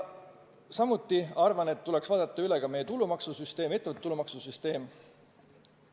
Samuti arvan, et tuleks üle vaadata ka meie ettevõtete tulumaksu süsteem.